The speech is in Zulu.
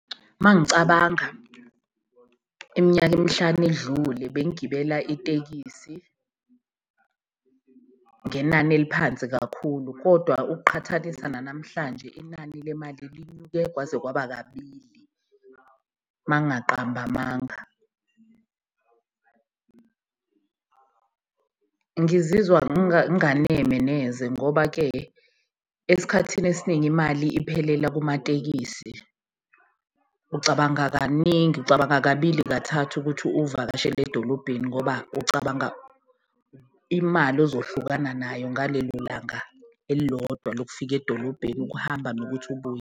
Mangicabanga iminyaka emihlanu edlule bengigibela itekisi ngenani eliphansi kakhulu, kodwa ukuqhathanisa nanamhlanje inani lemali linyuke kwaze kwaba kabili, mangaqambi amanga . Ngizizwa nganeme neze ngoba-ke esikhathini esiningi imali iphelela kumatekisi, ucabanga kaningi, ucabanga kabili kathathu ukuthi uvakashele edolobheni. Ngoba ucabanga imali ozohlukana nayo ngalelo langa elilodwa lokufika edolobheni, ukuhamba nokuthi ubuye.